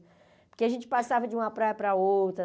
Porque a gente passava de uma praia para outra.